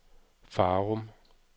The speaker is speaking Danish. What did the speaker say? Farum